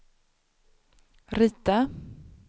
rita